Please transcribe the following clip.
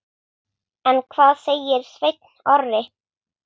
En hvað segir Sveinn Orri?